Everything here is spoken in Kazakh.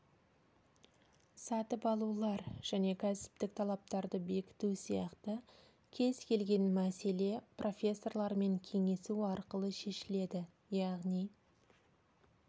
сатып алулар және кәсіптік талаптарды бекіту сияқты кез келген мәселе профессорлармен кеңесу арқылы шешіледі яғни